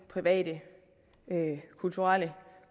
private kulturelle